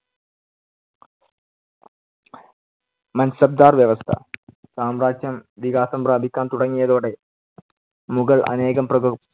മാൻസബ്ദാർ വ്യവസ്ഥ. സാമ്രാജ്യം വികാസം പ്രാപിക്കാൻ തുടങ്ങിയതോടെ, മുഗൾ അനേകം പ്രഭ